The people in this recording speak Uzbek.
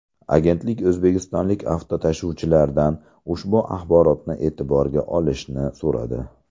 Agentlik o‘zbekistonlik avtotashuvchilardan ushbu axborotni e’tiborga olishni so‘radi.